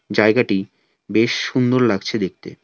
জায়গাটি বেশ সুন্দর লাগছে দেখতে।